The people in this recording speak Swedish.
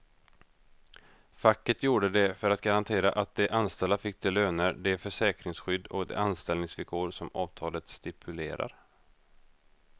Facket gjorde det för att garantera att de anställda fick de löner, det försäkringsskydd och de anställningsvillkor som avtalet stipulerar.